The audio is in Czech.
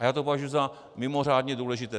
A já to považuji za mimořádně důležité.